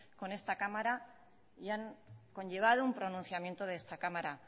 con esta cámara y han conllevado un pronunciamiento de esta cámara